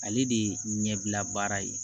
Ale de ye ɲɛbila baara ye